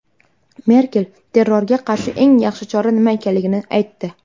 Merkel terrorga qarshi eng yaxshi chora nima ekanligini aytdi.